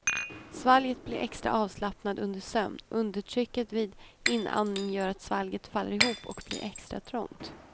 Svalget blir extra avslappnat under sömn, undertrycket vid inandning gör att svalget faller ihop och blir extra trångt.